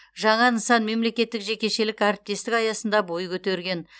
жаңа нысан мемлекеттік жекешелік әріптестік аясында бой көтерген